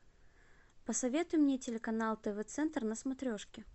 посоветуй мне телеканал тв центр на смотрешке